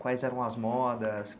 Quais eram as modas?